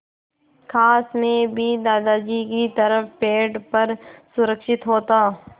काश मैं भी दादाजी की तरह पेड़ पर सुरक्षित होता